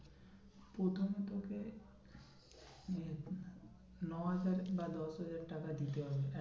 প্রথমে তোকে ইয়ে ন হাজার বা দশ হাজার টাকা দিতে হয়